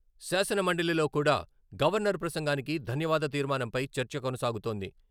శాసనమండలిలో కూడా గవర్నర్ ప్రసంగానికి ధన్యవాద తీర్మానంపై చర్చ కొనసాగుతోంది.